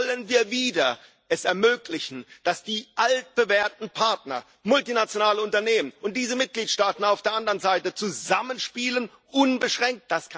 Wollen wir es wieder ermöglichen, dass die altbewährten Partner multinationale Unternehmen und diese Mitgliedstaaten auf der anderen Seite zusammenspielen unbeschränkt?